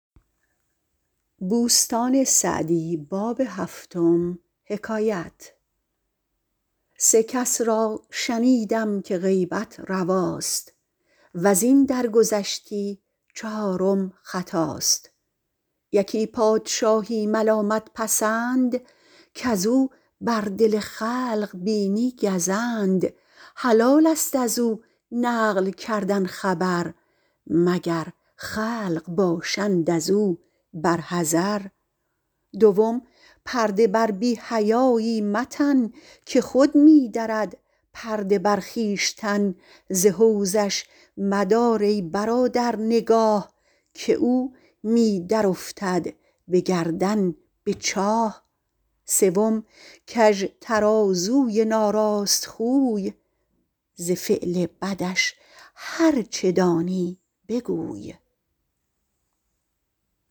سه کس را شنیدم که غیبت رواست وز این درگذشتی چهارم خطاست یکی پادشاهی ملامت پسند کز او بر دل خلق بینی گزند حلال است از او نقل کردن خبر مگر خلق باشند از او بر حذر دوم پرده بر بی حیایی متن که خود می درد پرده بر خویشتن ز حوضش مدار ای برادر نگاه که او می درافتد به گردن به چاه سوم کژ ترازوی ناراست خوی ز فعل بدش هرچه دانی بگوی